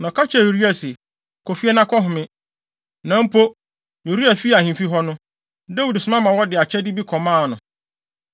Na ɔka kyerɛɛ Uria se, “Kɔ fie na kɔhome.” Na mpo, Uria fii ahemfi hɔ no, Dawid soma ma wɔde akyɛde bi kɔmaa no.